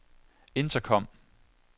intercom